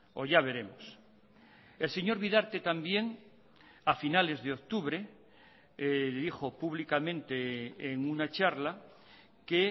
o ya veremos el señor bidarte también a finales de octubre dijo públicamente en una charla que